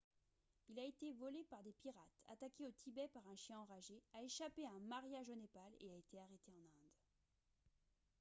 il a été volé par des pirates attaqué au tibet par un chien enragé a échappé à un mariage au népal et a été arrêté en inde